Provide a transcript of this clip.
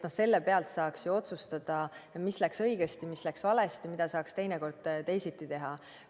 Selle pealt saaks otsustada, mis läks õigesti, mis läks valesti, mida saaks teine kord teisiti teha.